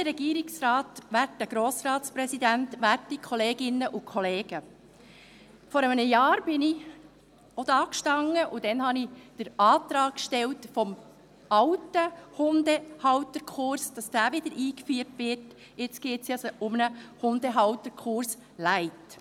Vor einem Jahr stand ich auch hier, und damals stellte ich den Antrag, dass der alte Hundehalterkurs wieder eingeführt wird, und jetzt geht es um einen «Hundehalterkurs light».